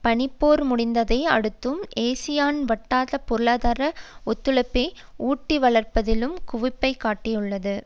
பனிப்போர் முடிந்ததை அடுத்தும் ஏசியான் வட்டார பொருளாதார ஒத்துழைப்பை ஊட்டி வளர்ப்பதில் குவிப்பை காட்டியுள்ளது